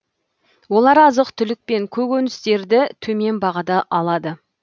олар азық түлік пен көкөністерді төмен бағада алады